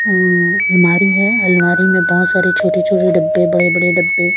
अं अलमारी है अलमारी में बहोत सारी छोटे छोटे डब्बे बड़े बड़े डब्बे--